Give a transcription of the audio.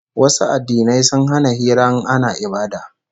Wasu addinai sun hana hira in ana ibada